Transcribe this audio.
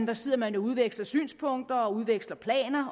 der sidder man og udveksler synspunkter og udveksler planer